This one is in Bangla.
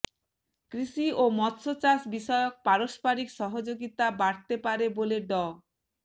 কৃষি ও মৎস্য চাষ বিষয়ক পারস্পরিক সহযোগিতা বাড়তে পারে বলে ড